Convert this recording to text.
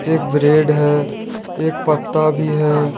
एक ब्रेड है एक पत्ता भी है।